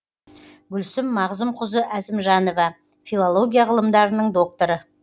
гүлсім мағзұмқызы әзімжанова филология ғылымдарының докторы